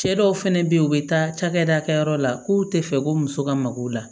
Cɛ dɔw fɛnɛ be yen u be taa cakɛda kɛyɔrɔ la k'u te fɛ ko muso ka mago la